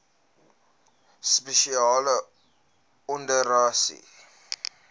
spesiale operasies dso